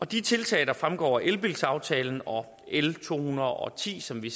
de tiltag der fremgår af elbilsaftalen og l to hundrede og ti som vi